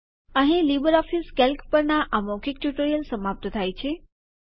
અહીં LibreOffice Calc પરના આ મૌખિક ટ્યુટોરીયલ સમાપ્ત થાય છે